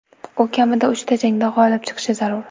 U kamida uchta jangda g‘olib chiqishi zarur.